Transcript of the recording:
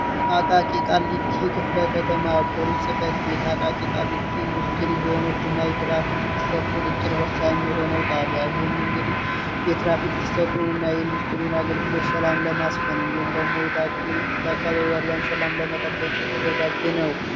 አቃቂቃሊቲ ክፍለ ከተማ ፖሊስ ጽፈት ቤት አቃቂ ቃሊቲ ኢንዱስትሪ ዘሆኖች እና የትራፊክ ፍሰት ቁጥጥር ወሳኝ የሆነው ጣቢ አይህም እንግዲህ የትራፊክ ፍሰቱን እና የኢንዱስትሪውን አገልግሎች ሰላም ለማስፈን እንዲሁም ደግሞ የገሪ በአካበቢ ያሏን ሰላም ለመጠበቅ የተዘጋጅ ነው።